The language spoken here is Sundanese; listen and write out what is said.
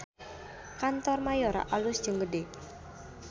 Kantor Mayora alus jeung gede